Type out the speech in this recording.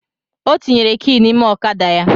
Ọ tinyere ki n’ime ọkada ya